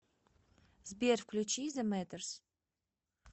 сбер включи зэ мэтэрс